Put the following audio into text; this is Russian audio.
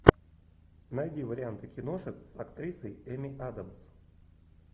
найди варианты киношек с актрисой эми адамс